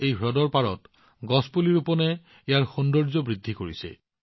হ্ৰদৰ পাৰত থকা বৃক্ষৰোপণে ইয়াৰ সৌন্দৰ্য বৃদ্ধি কৰিছে